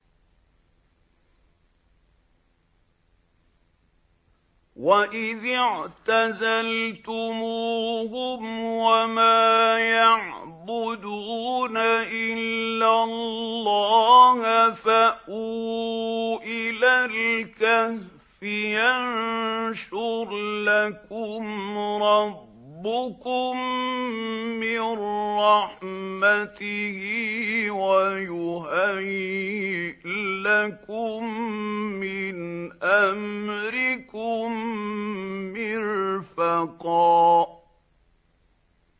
وَإِذِ اعْتَزَلْتُمُوهُمْ وَمَا يَعْبُدُونَ إِلَّا اللَّهَ فَأْوُوا إِلَى الْكَهْفِ يَنشُرْ لَكُمْ رَبُّكُم مِّن رَّحْمَتِهِ وَيُهَيِّئْ لَكُم مِّنْ أَمْرِكُم مِّرْفَقًا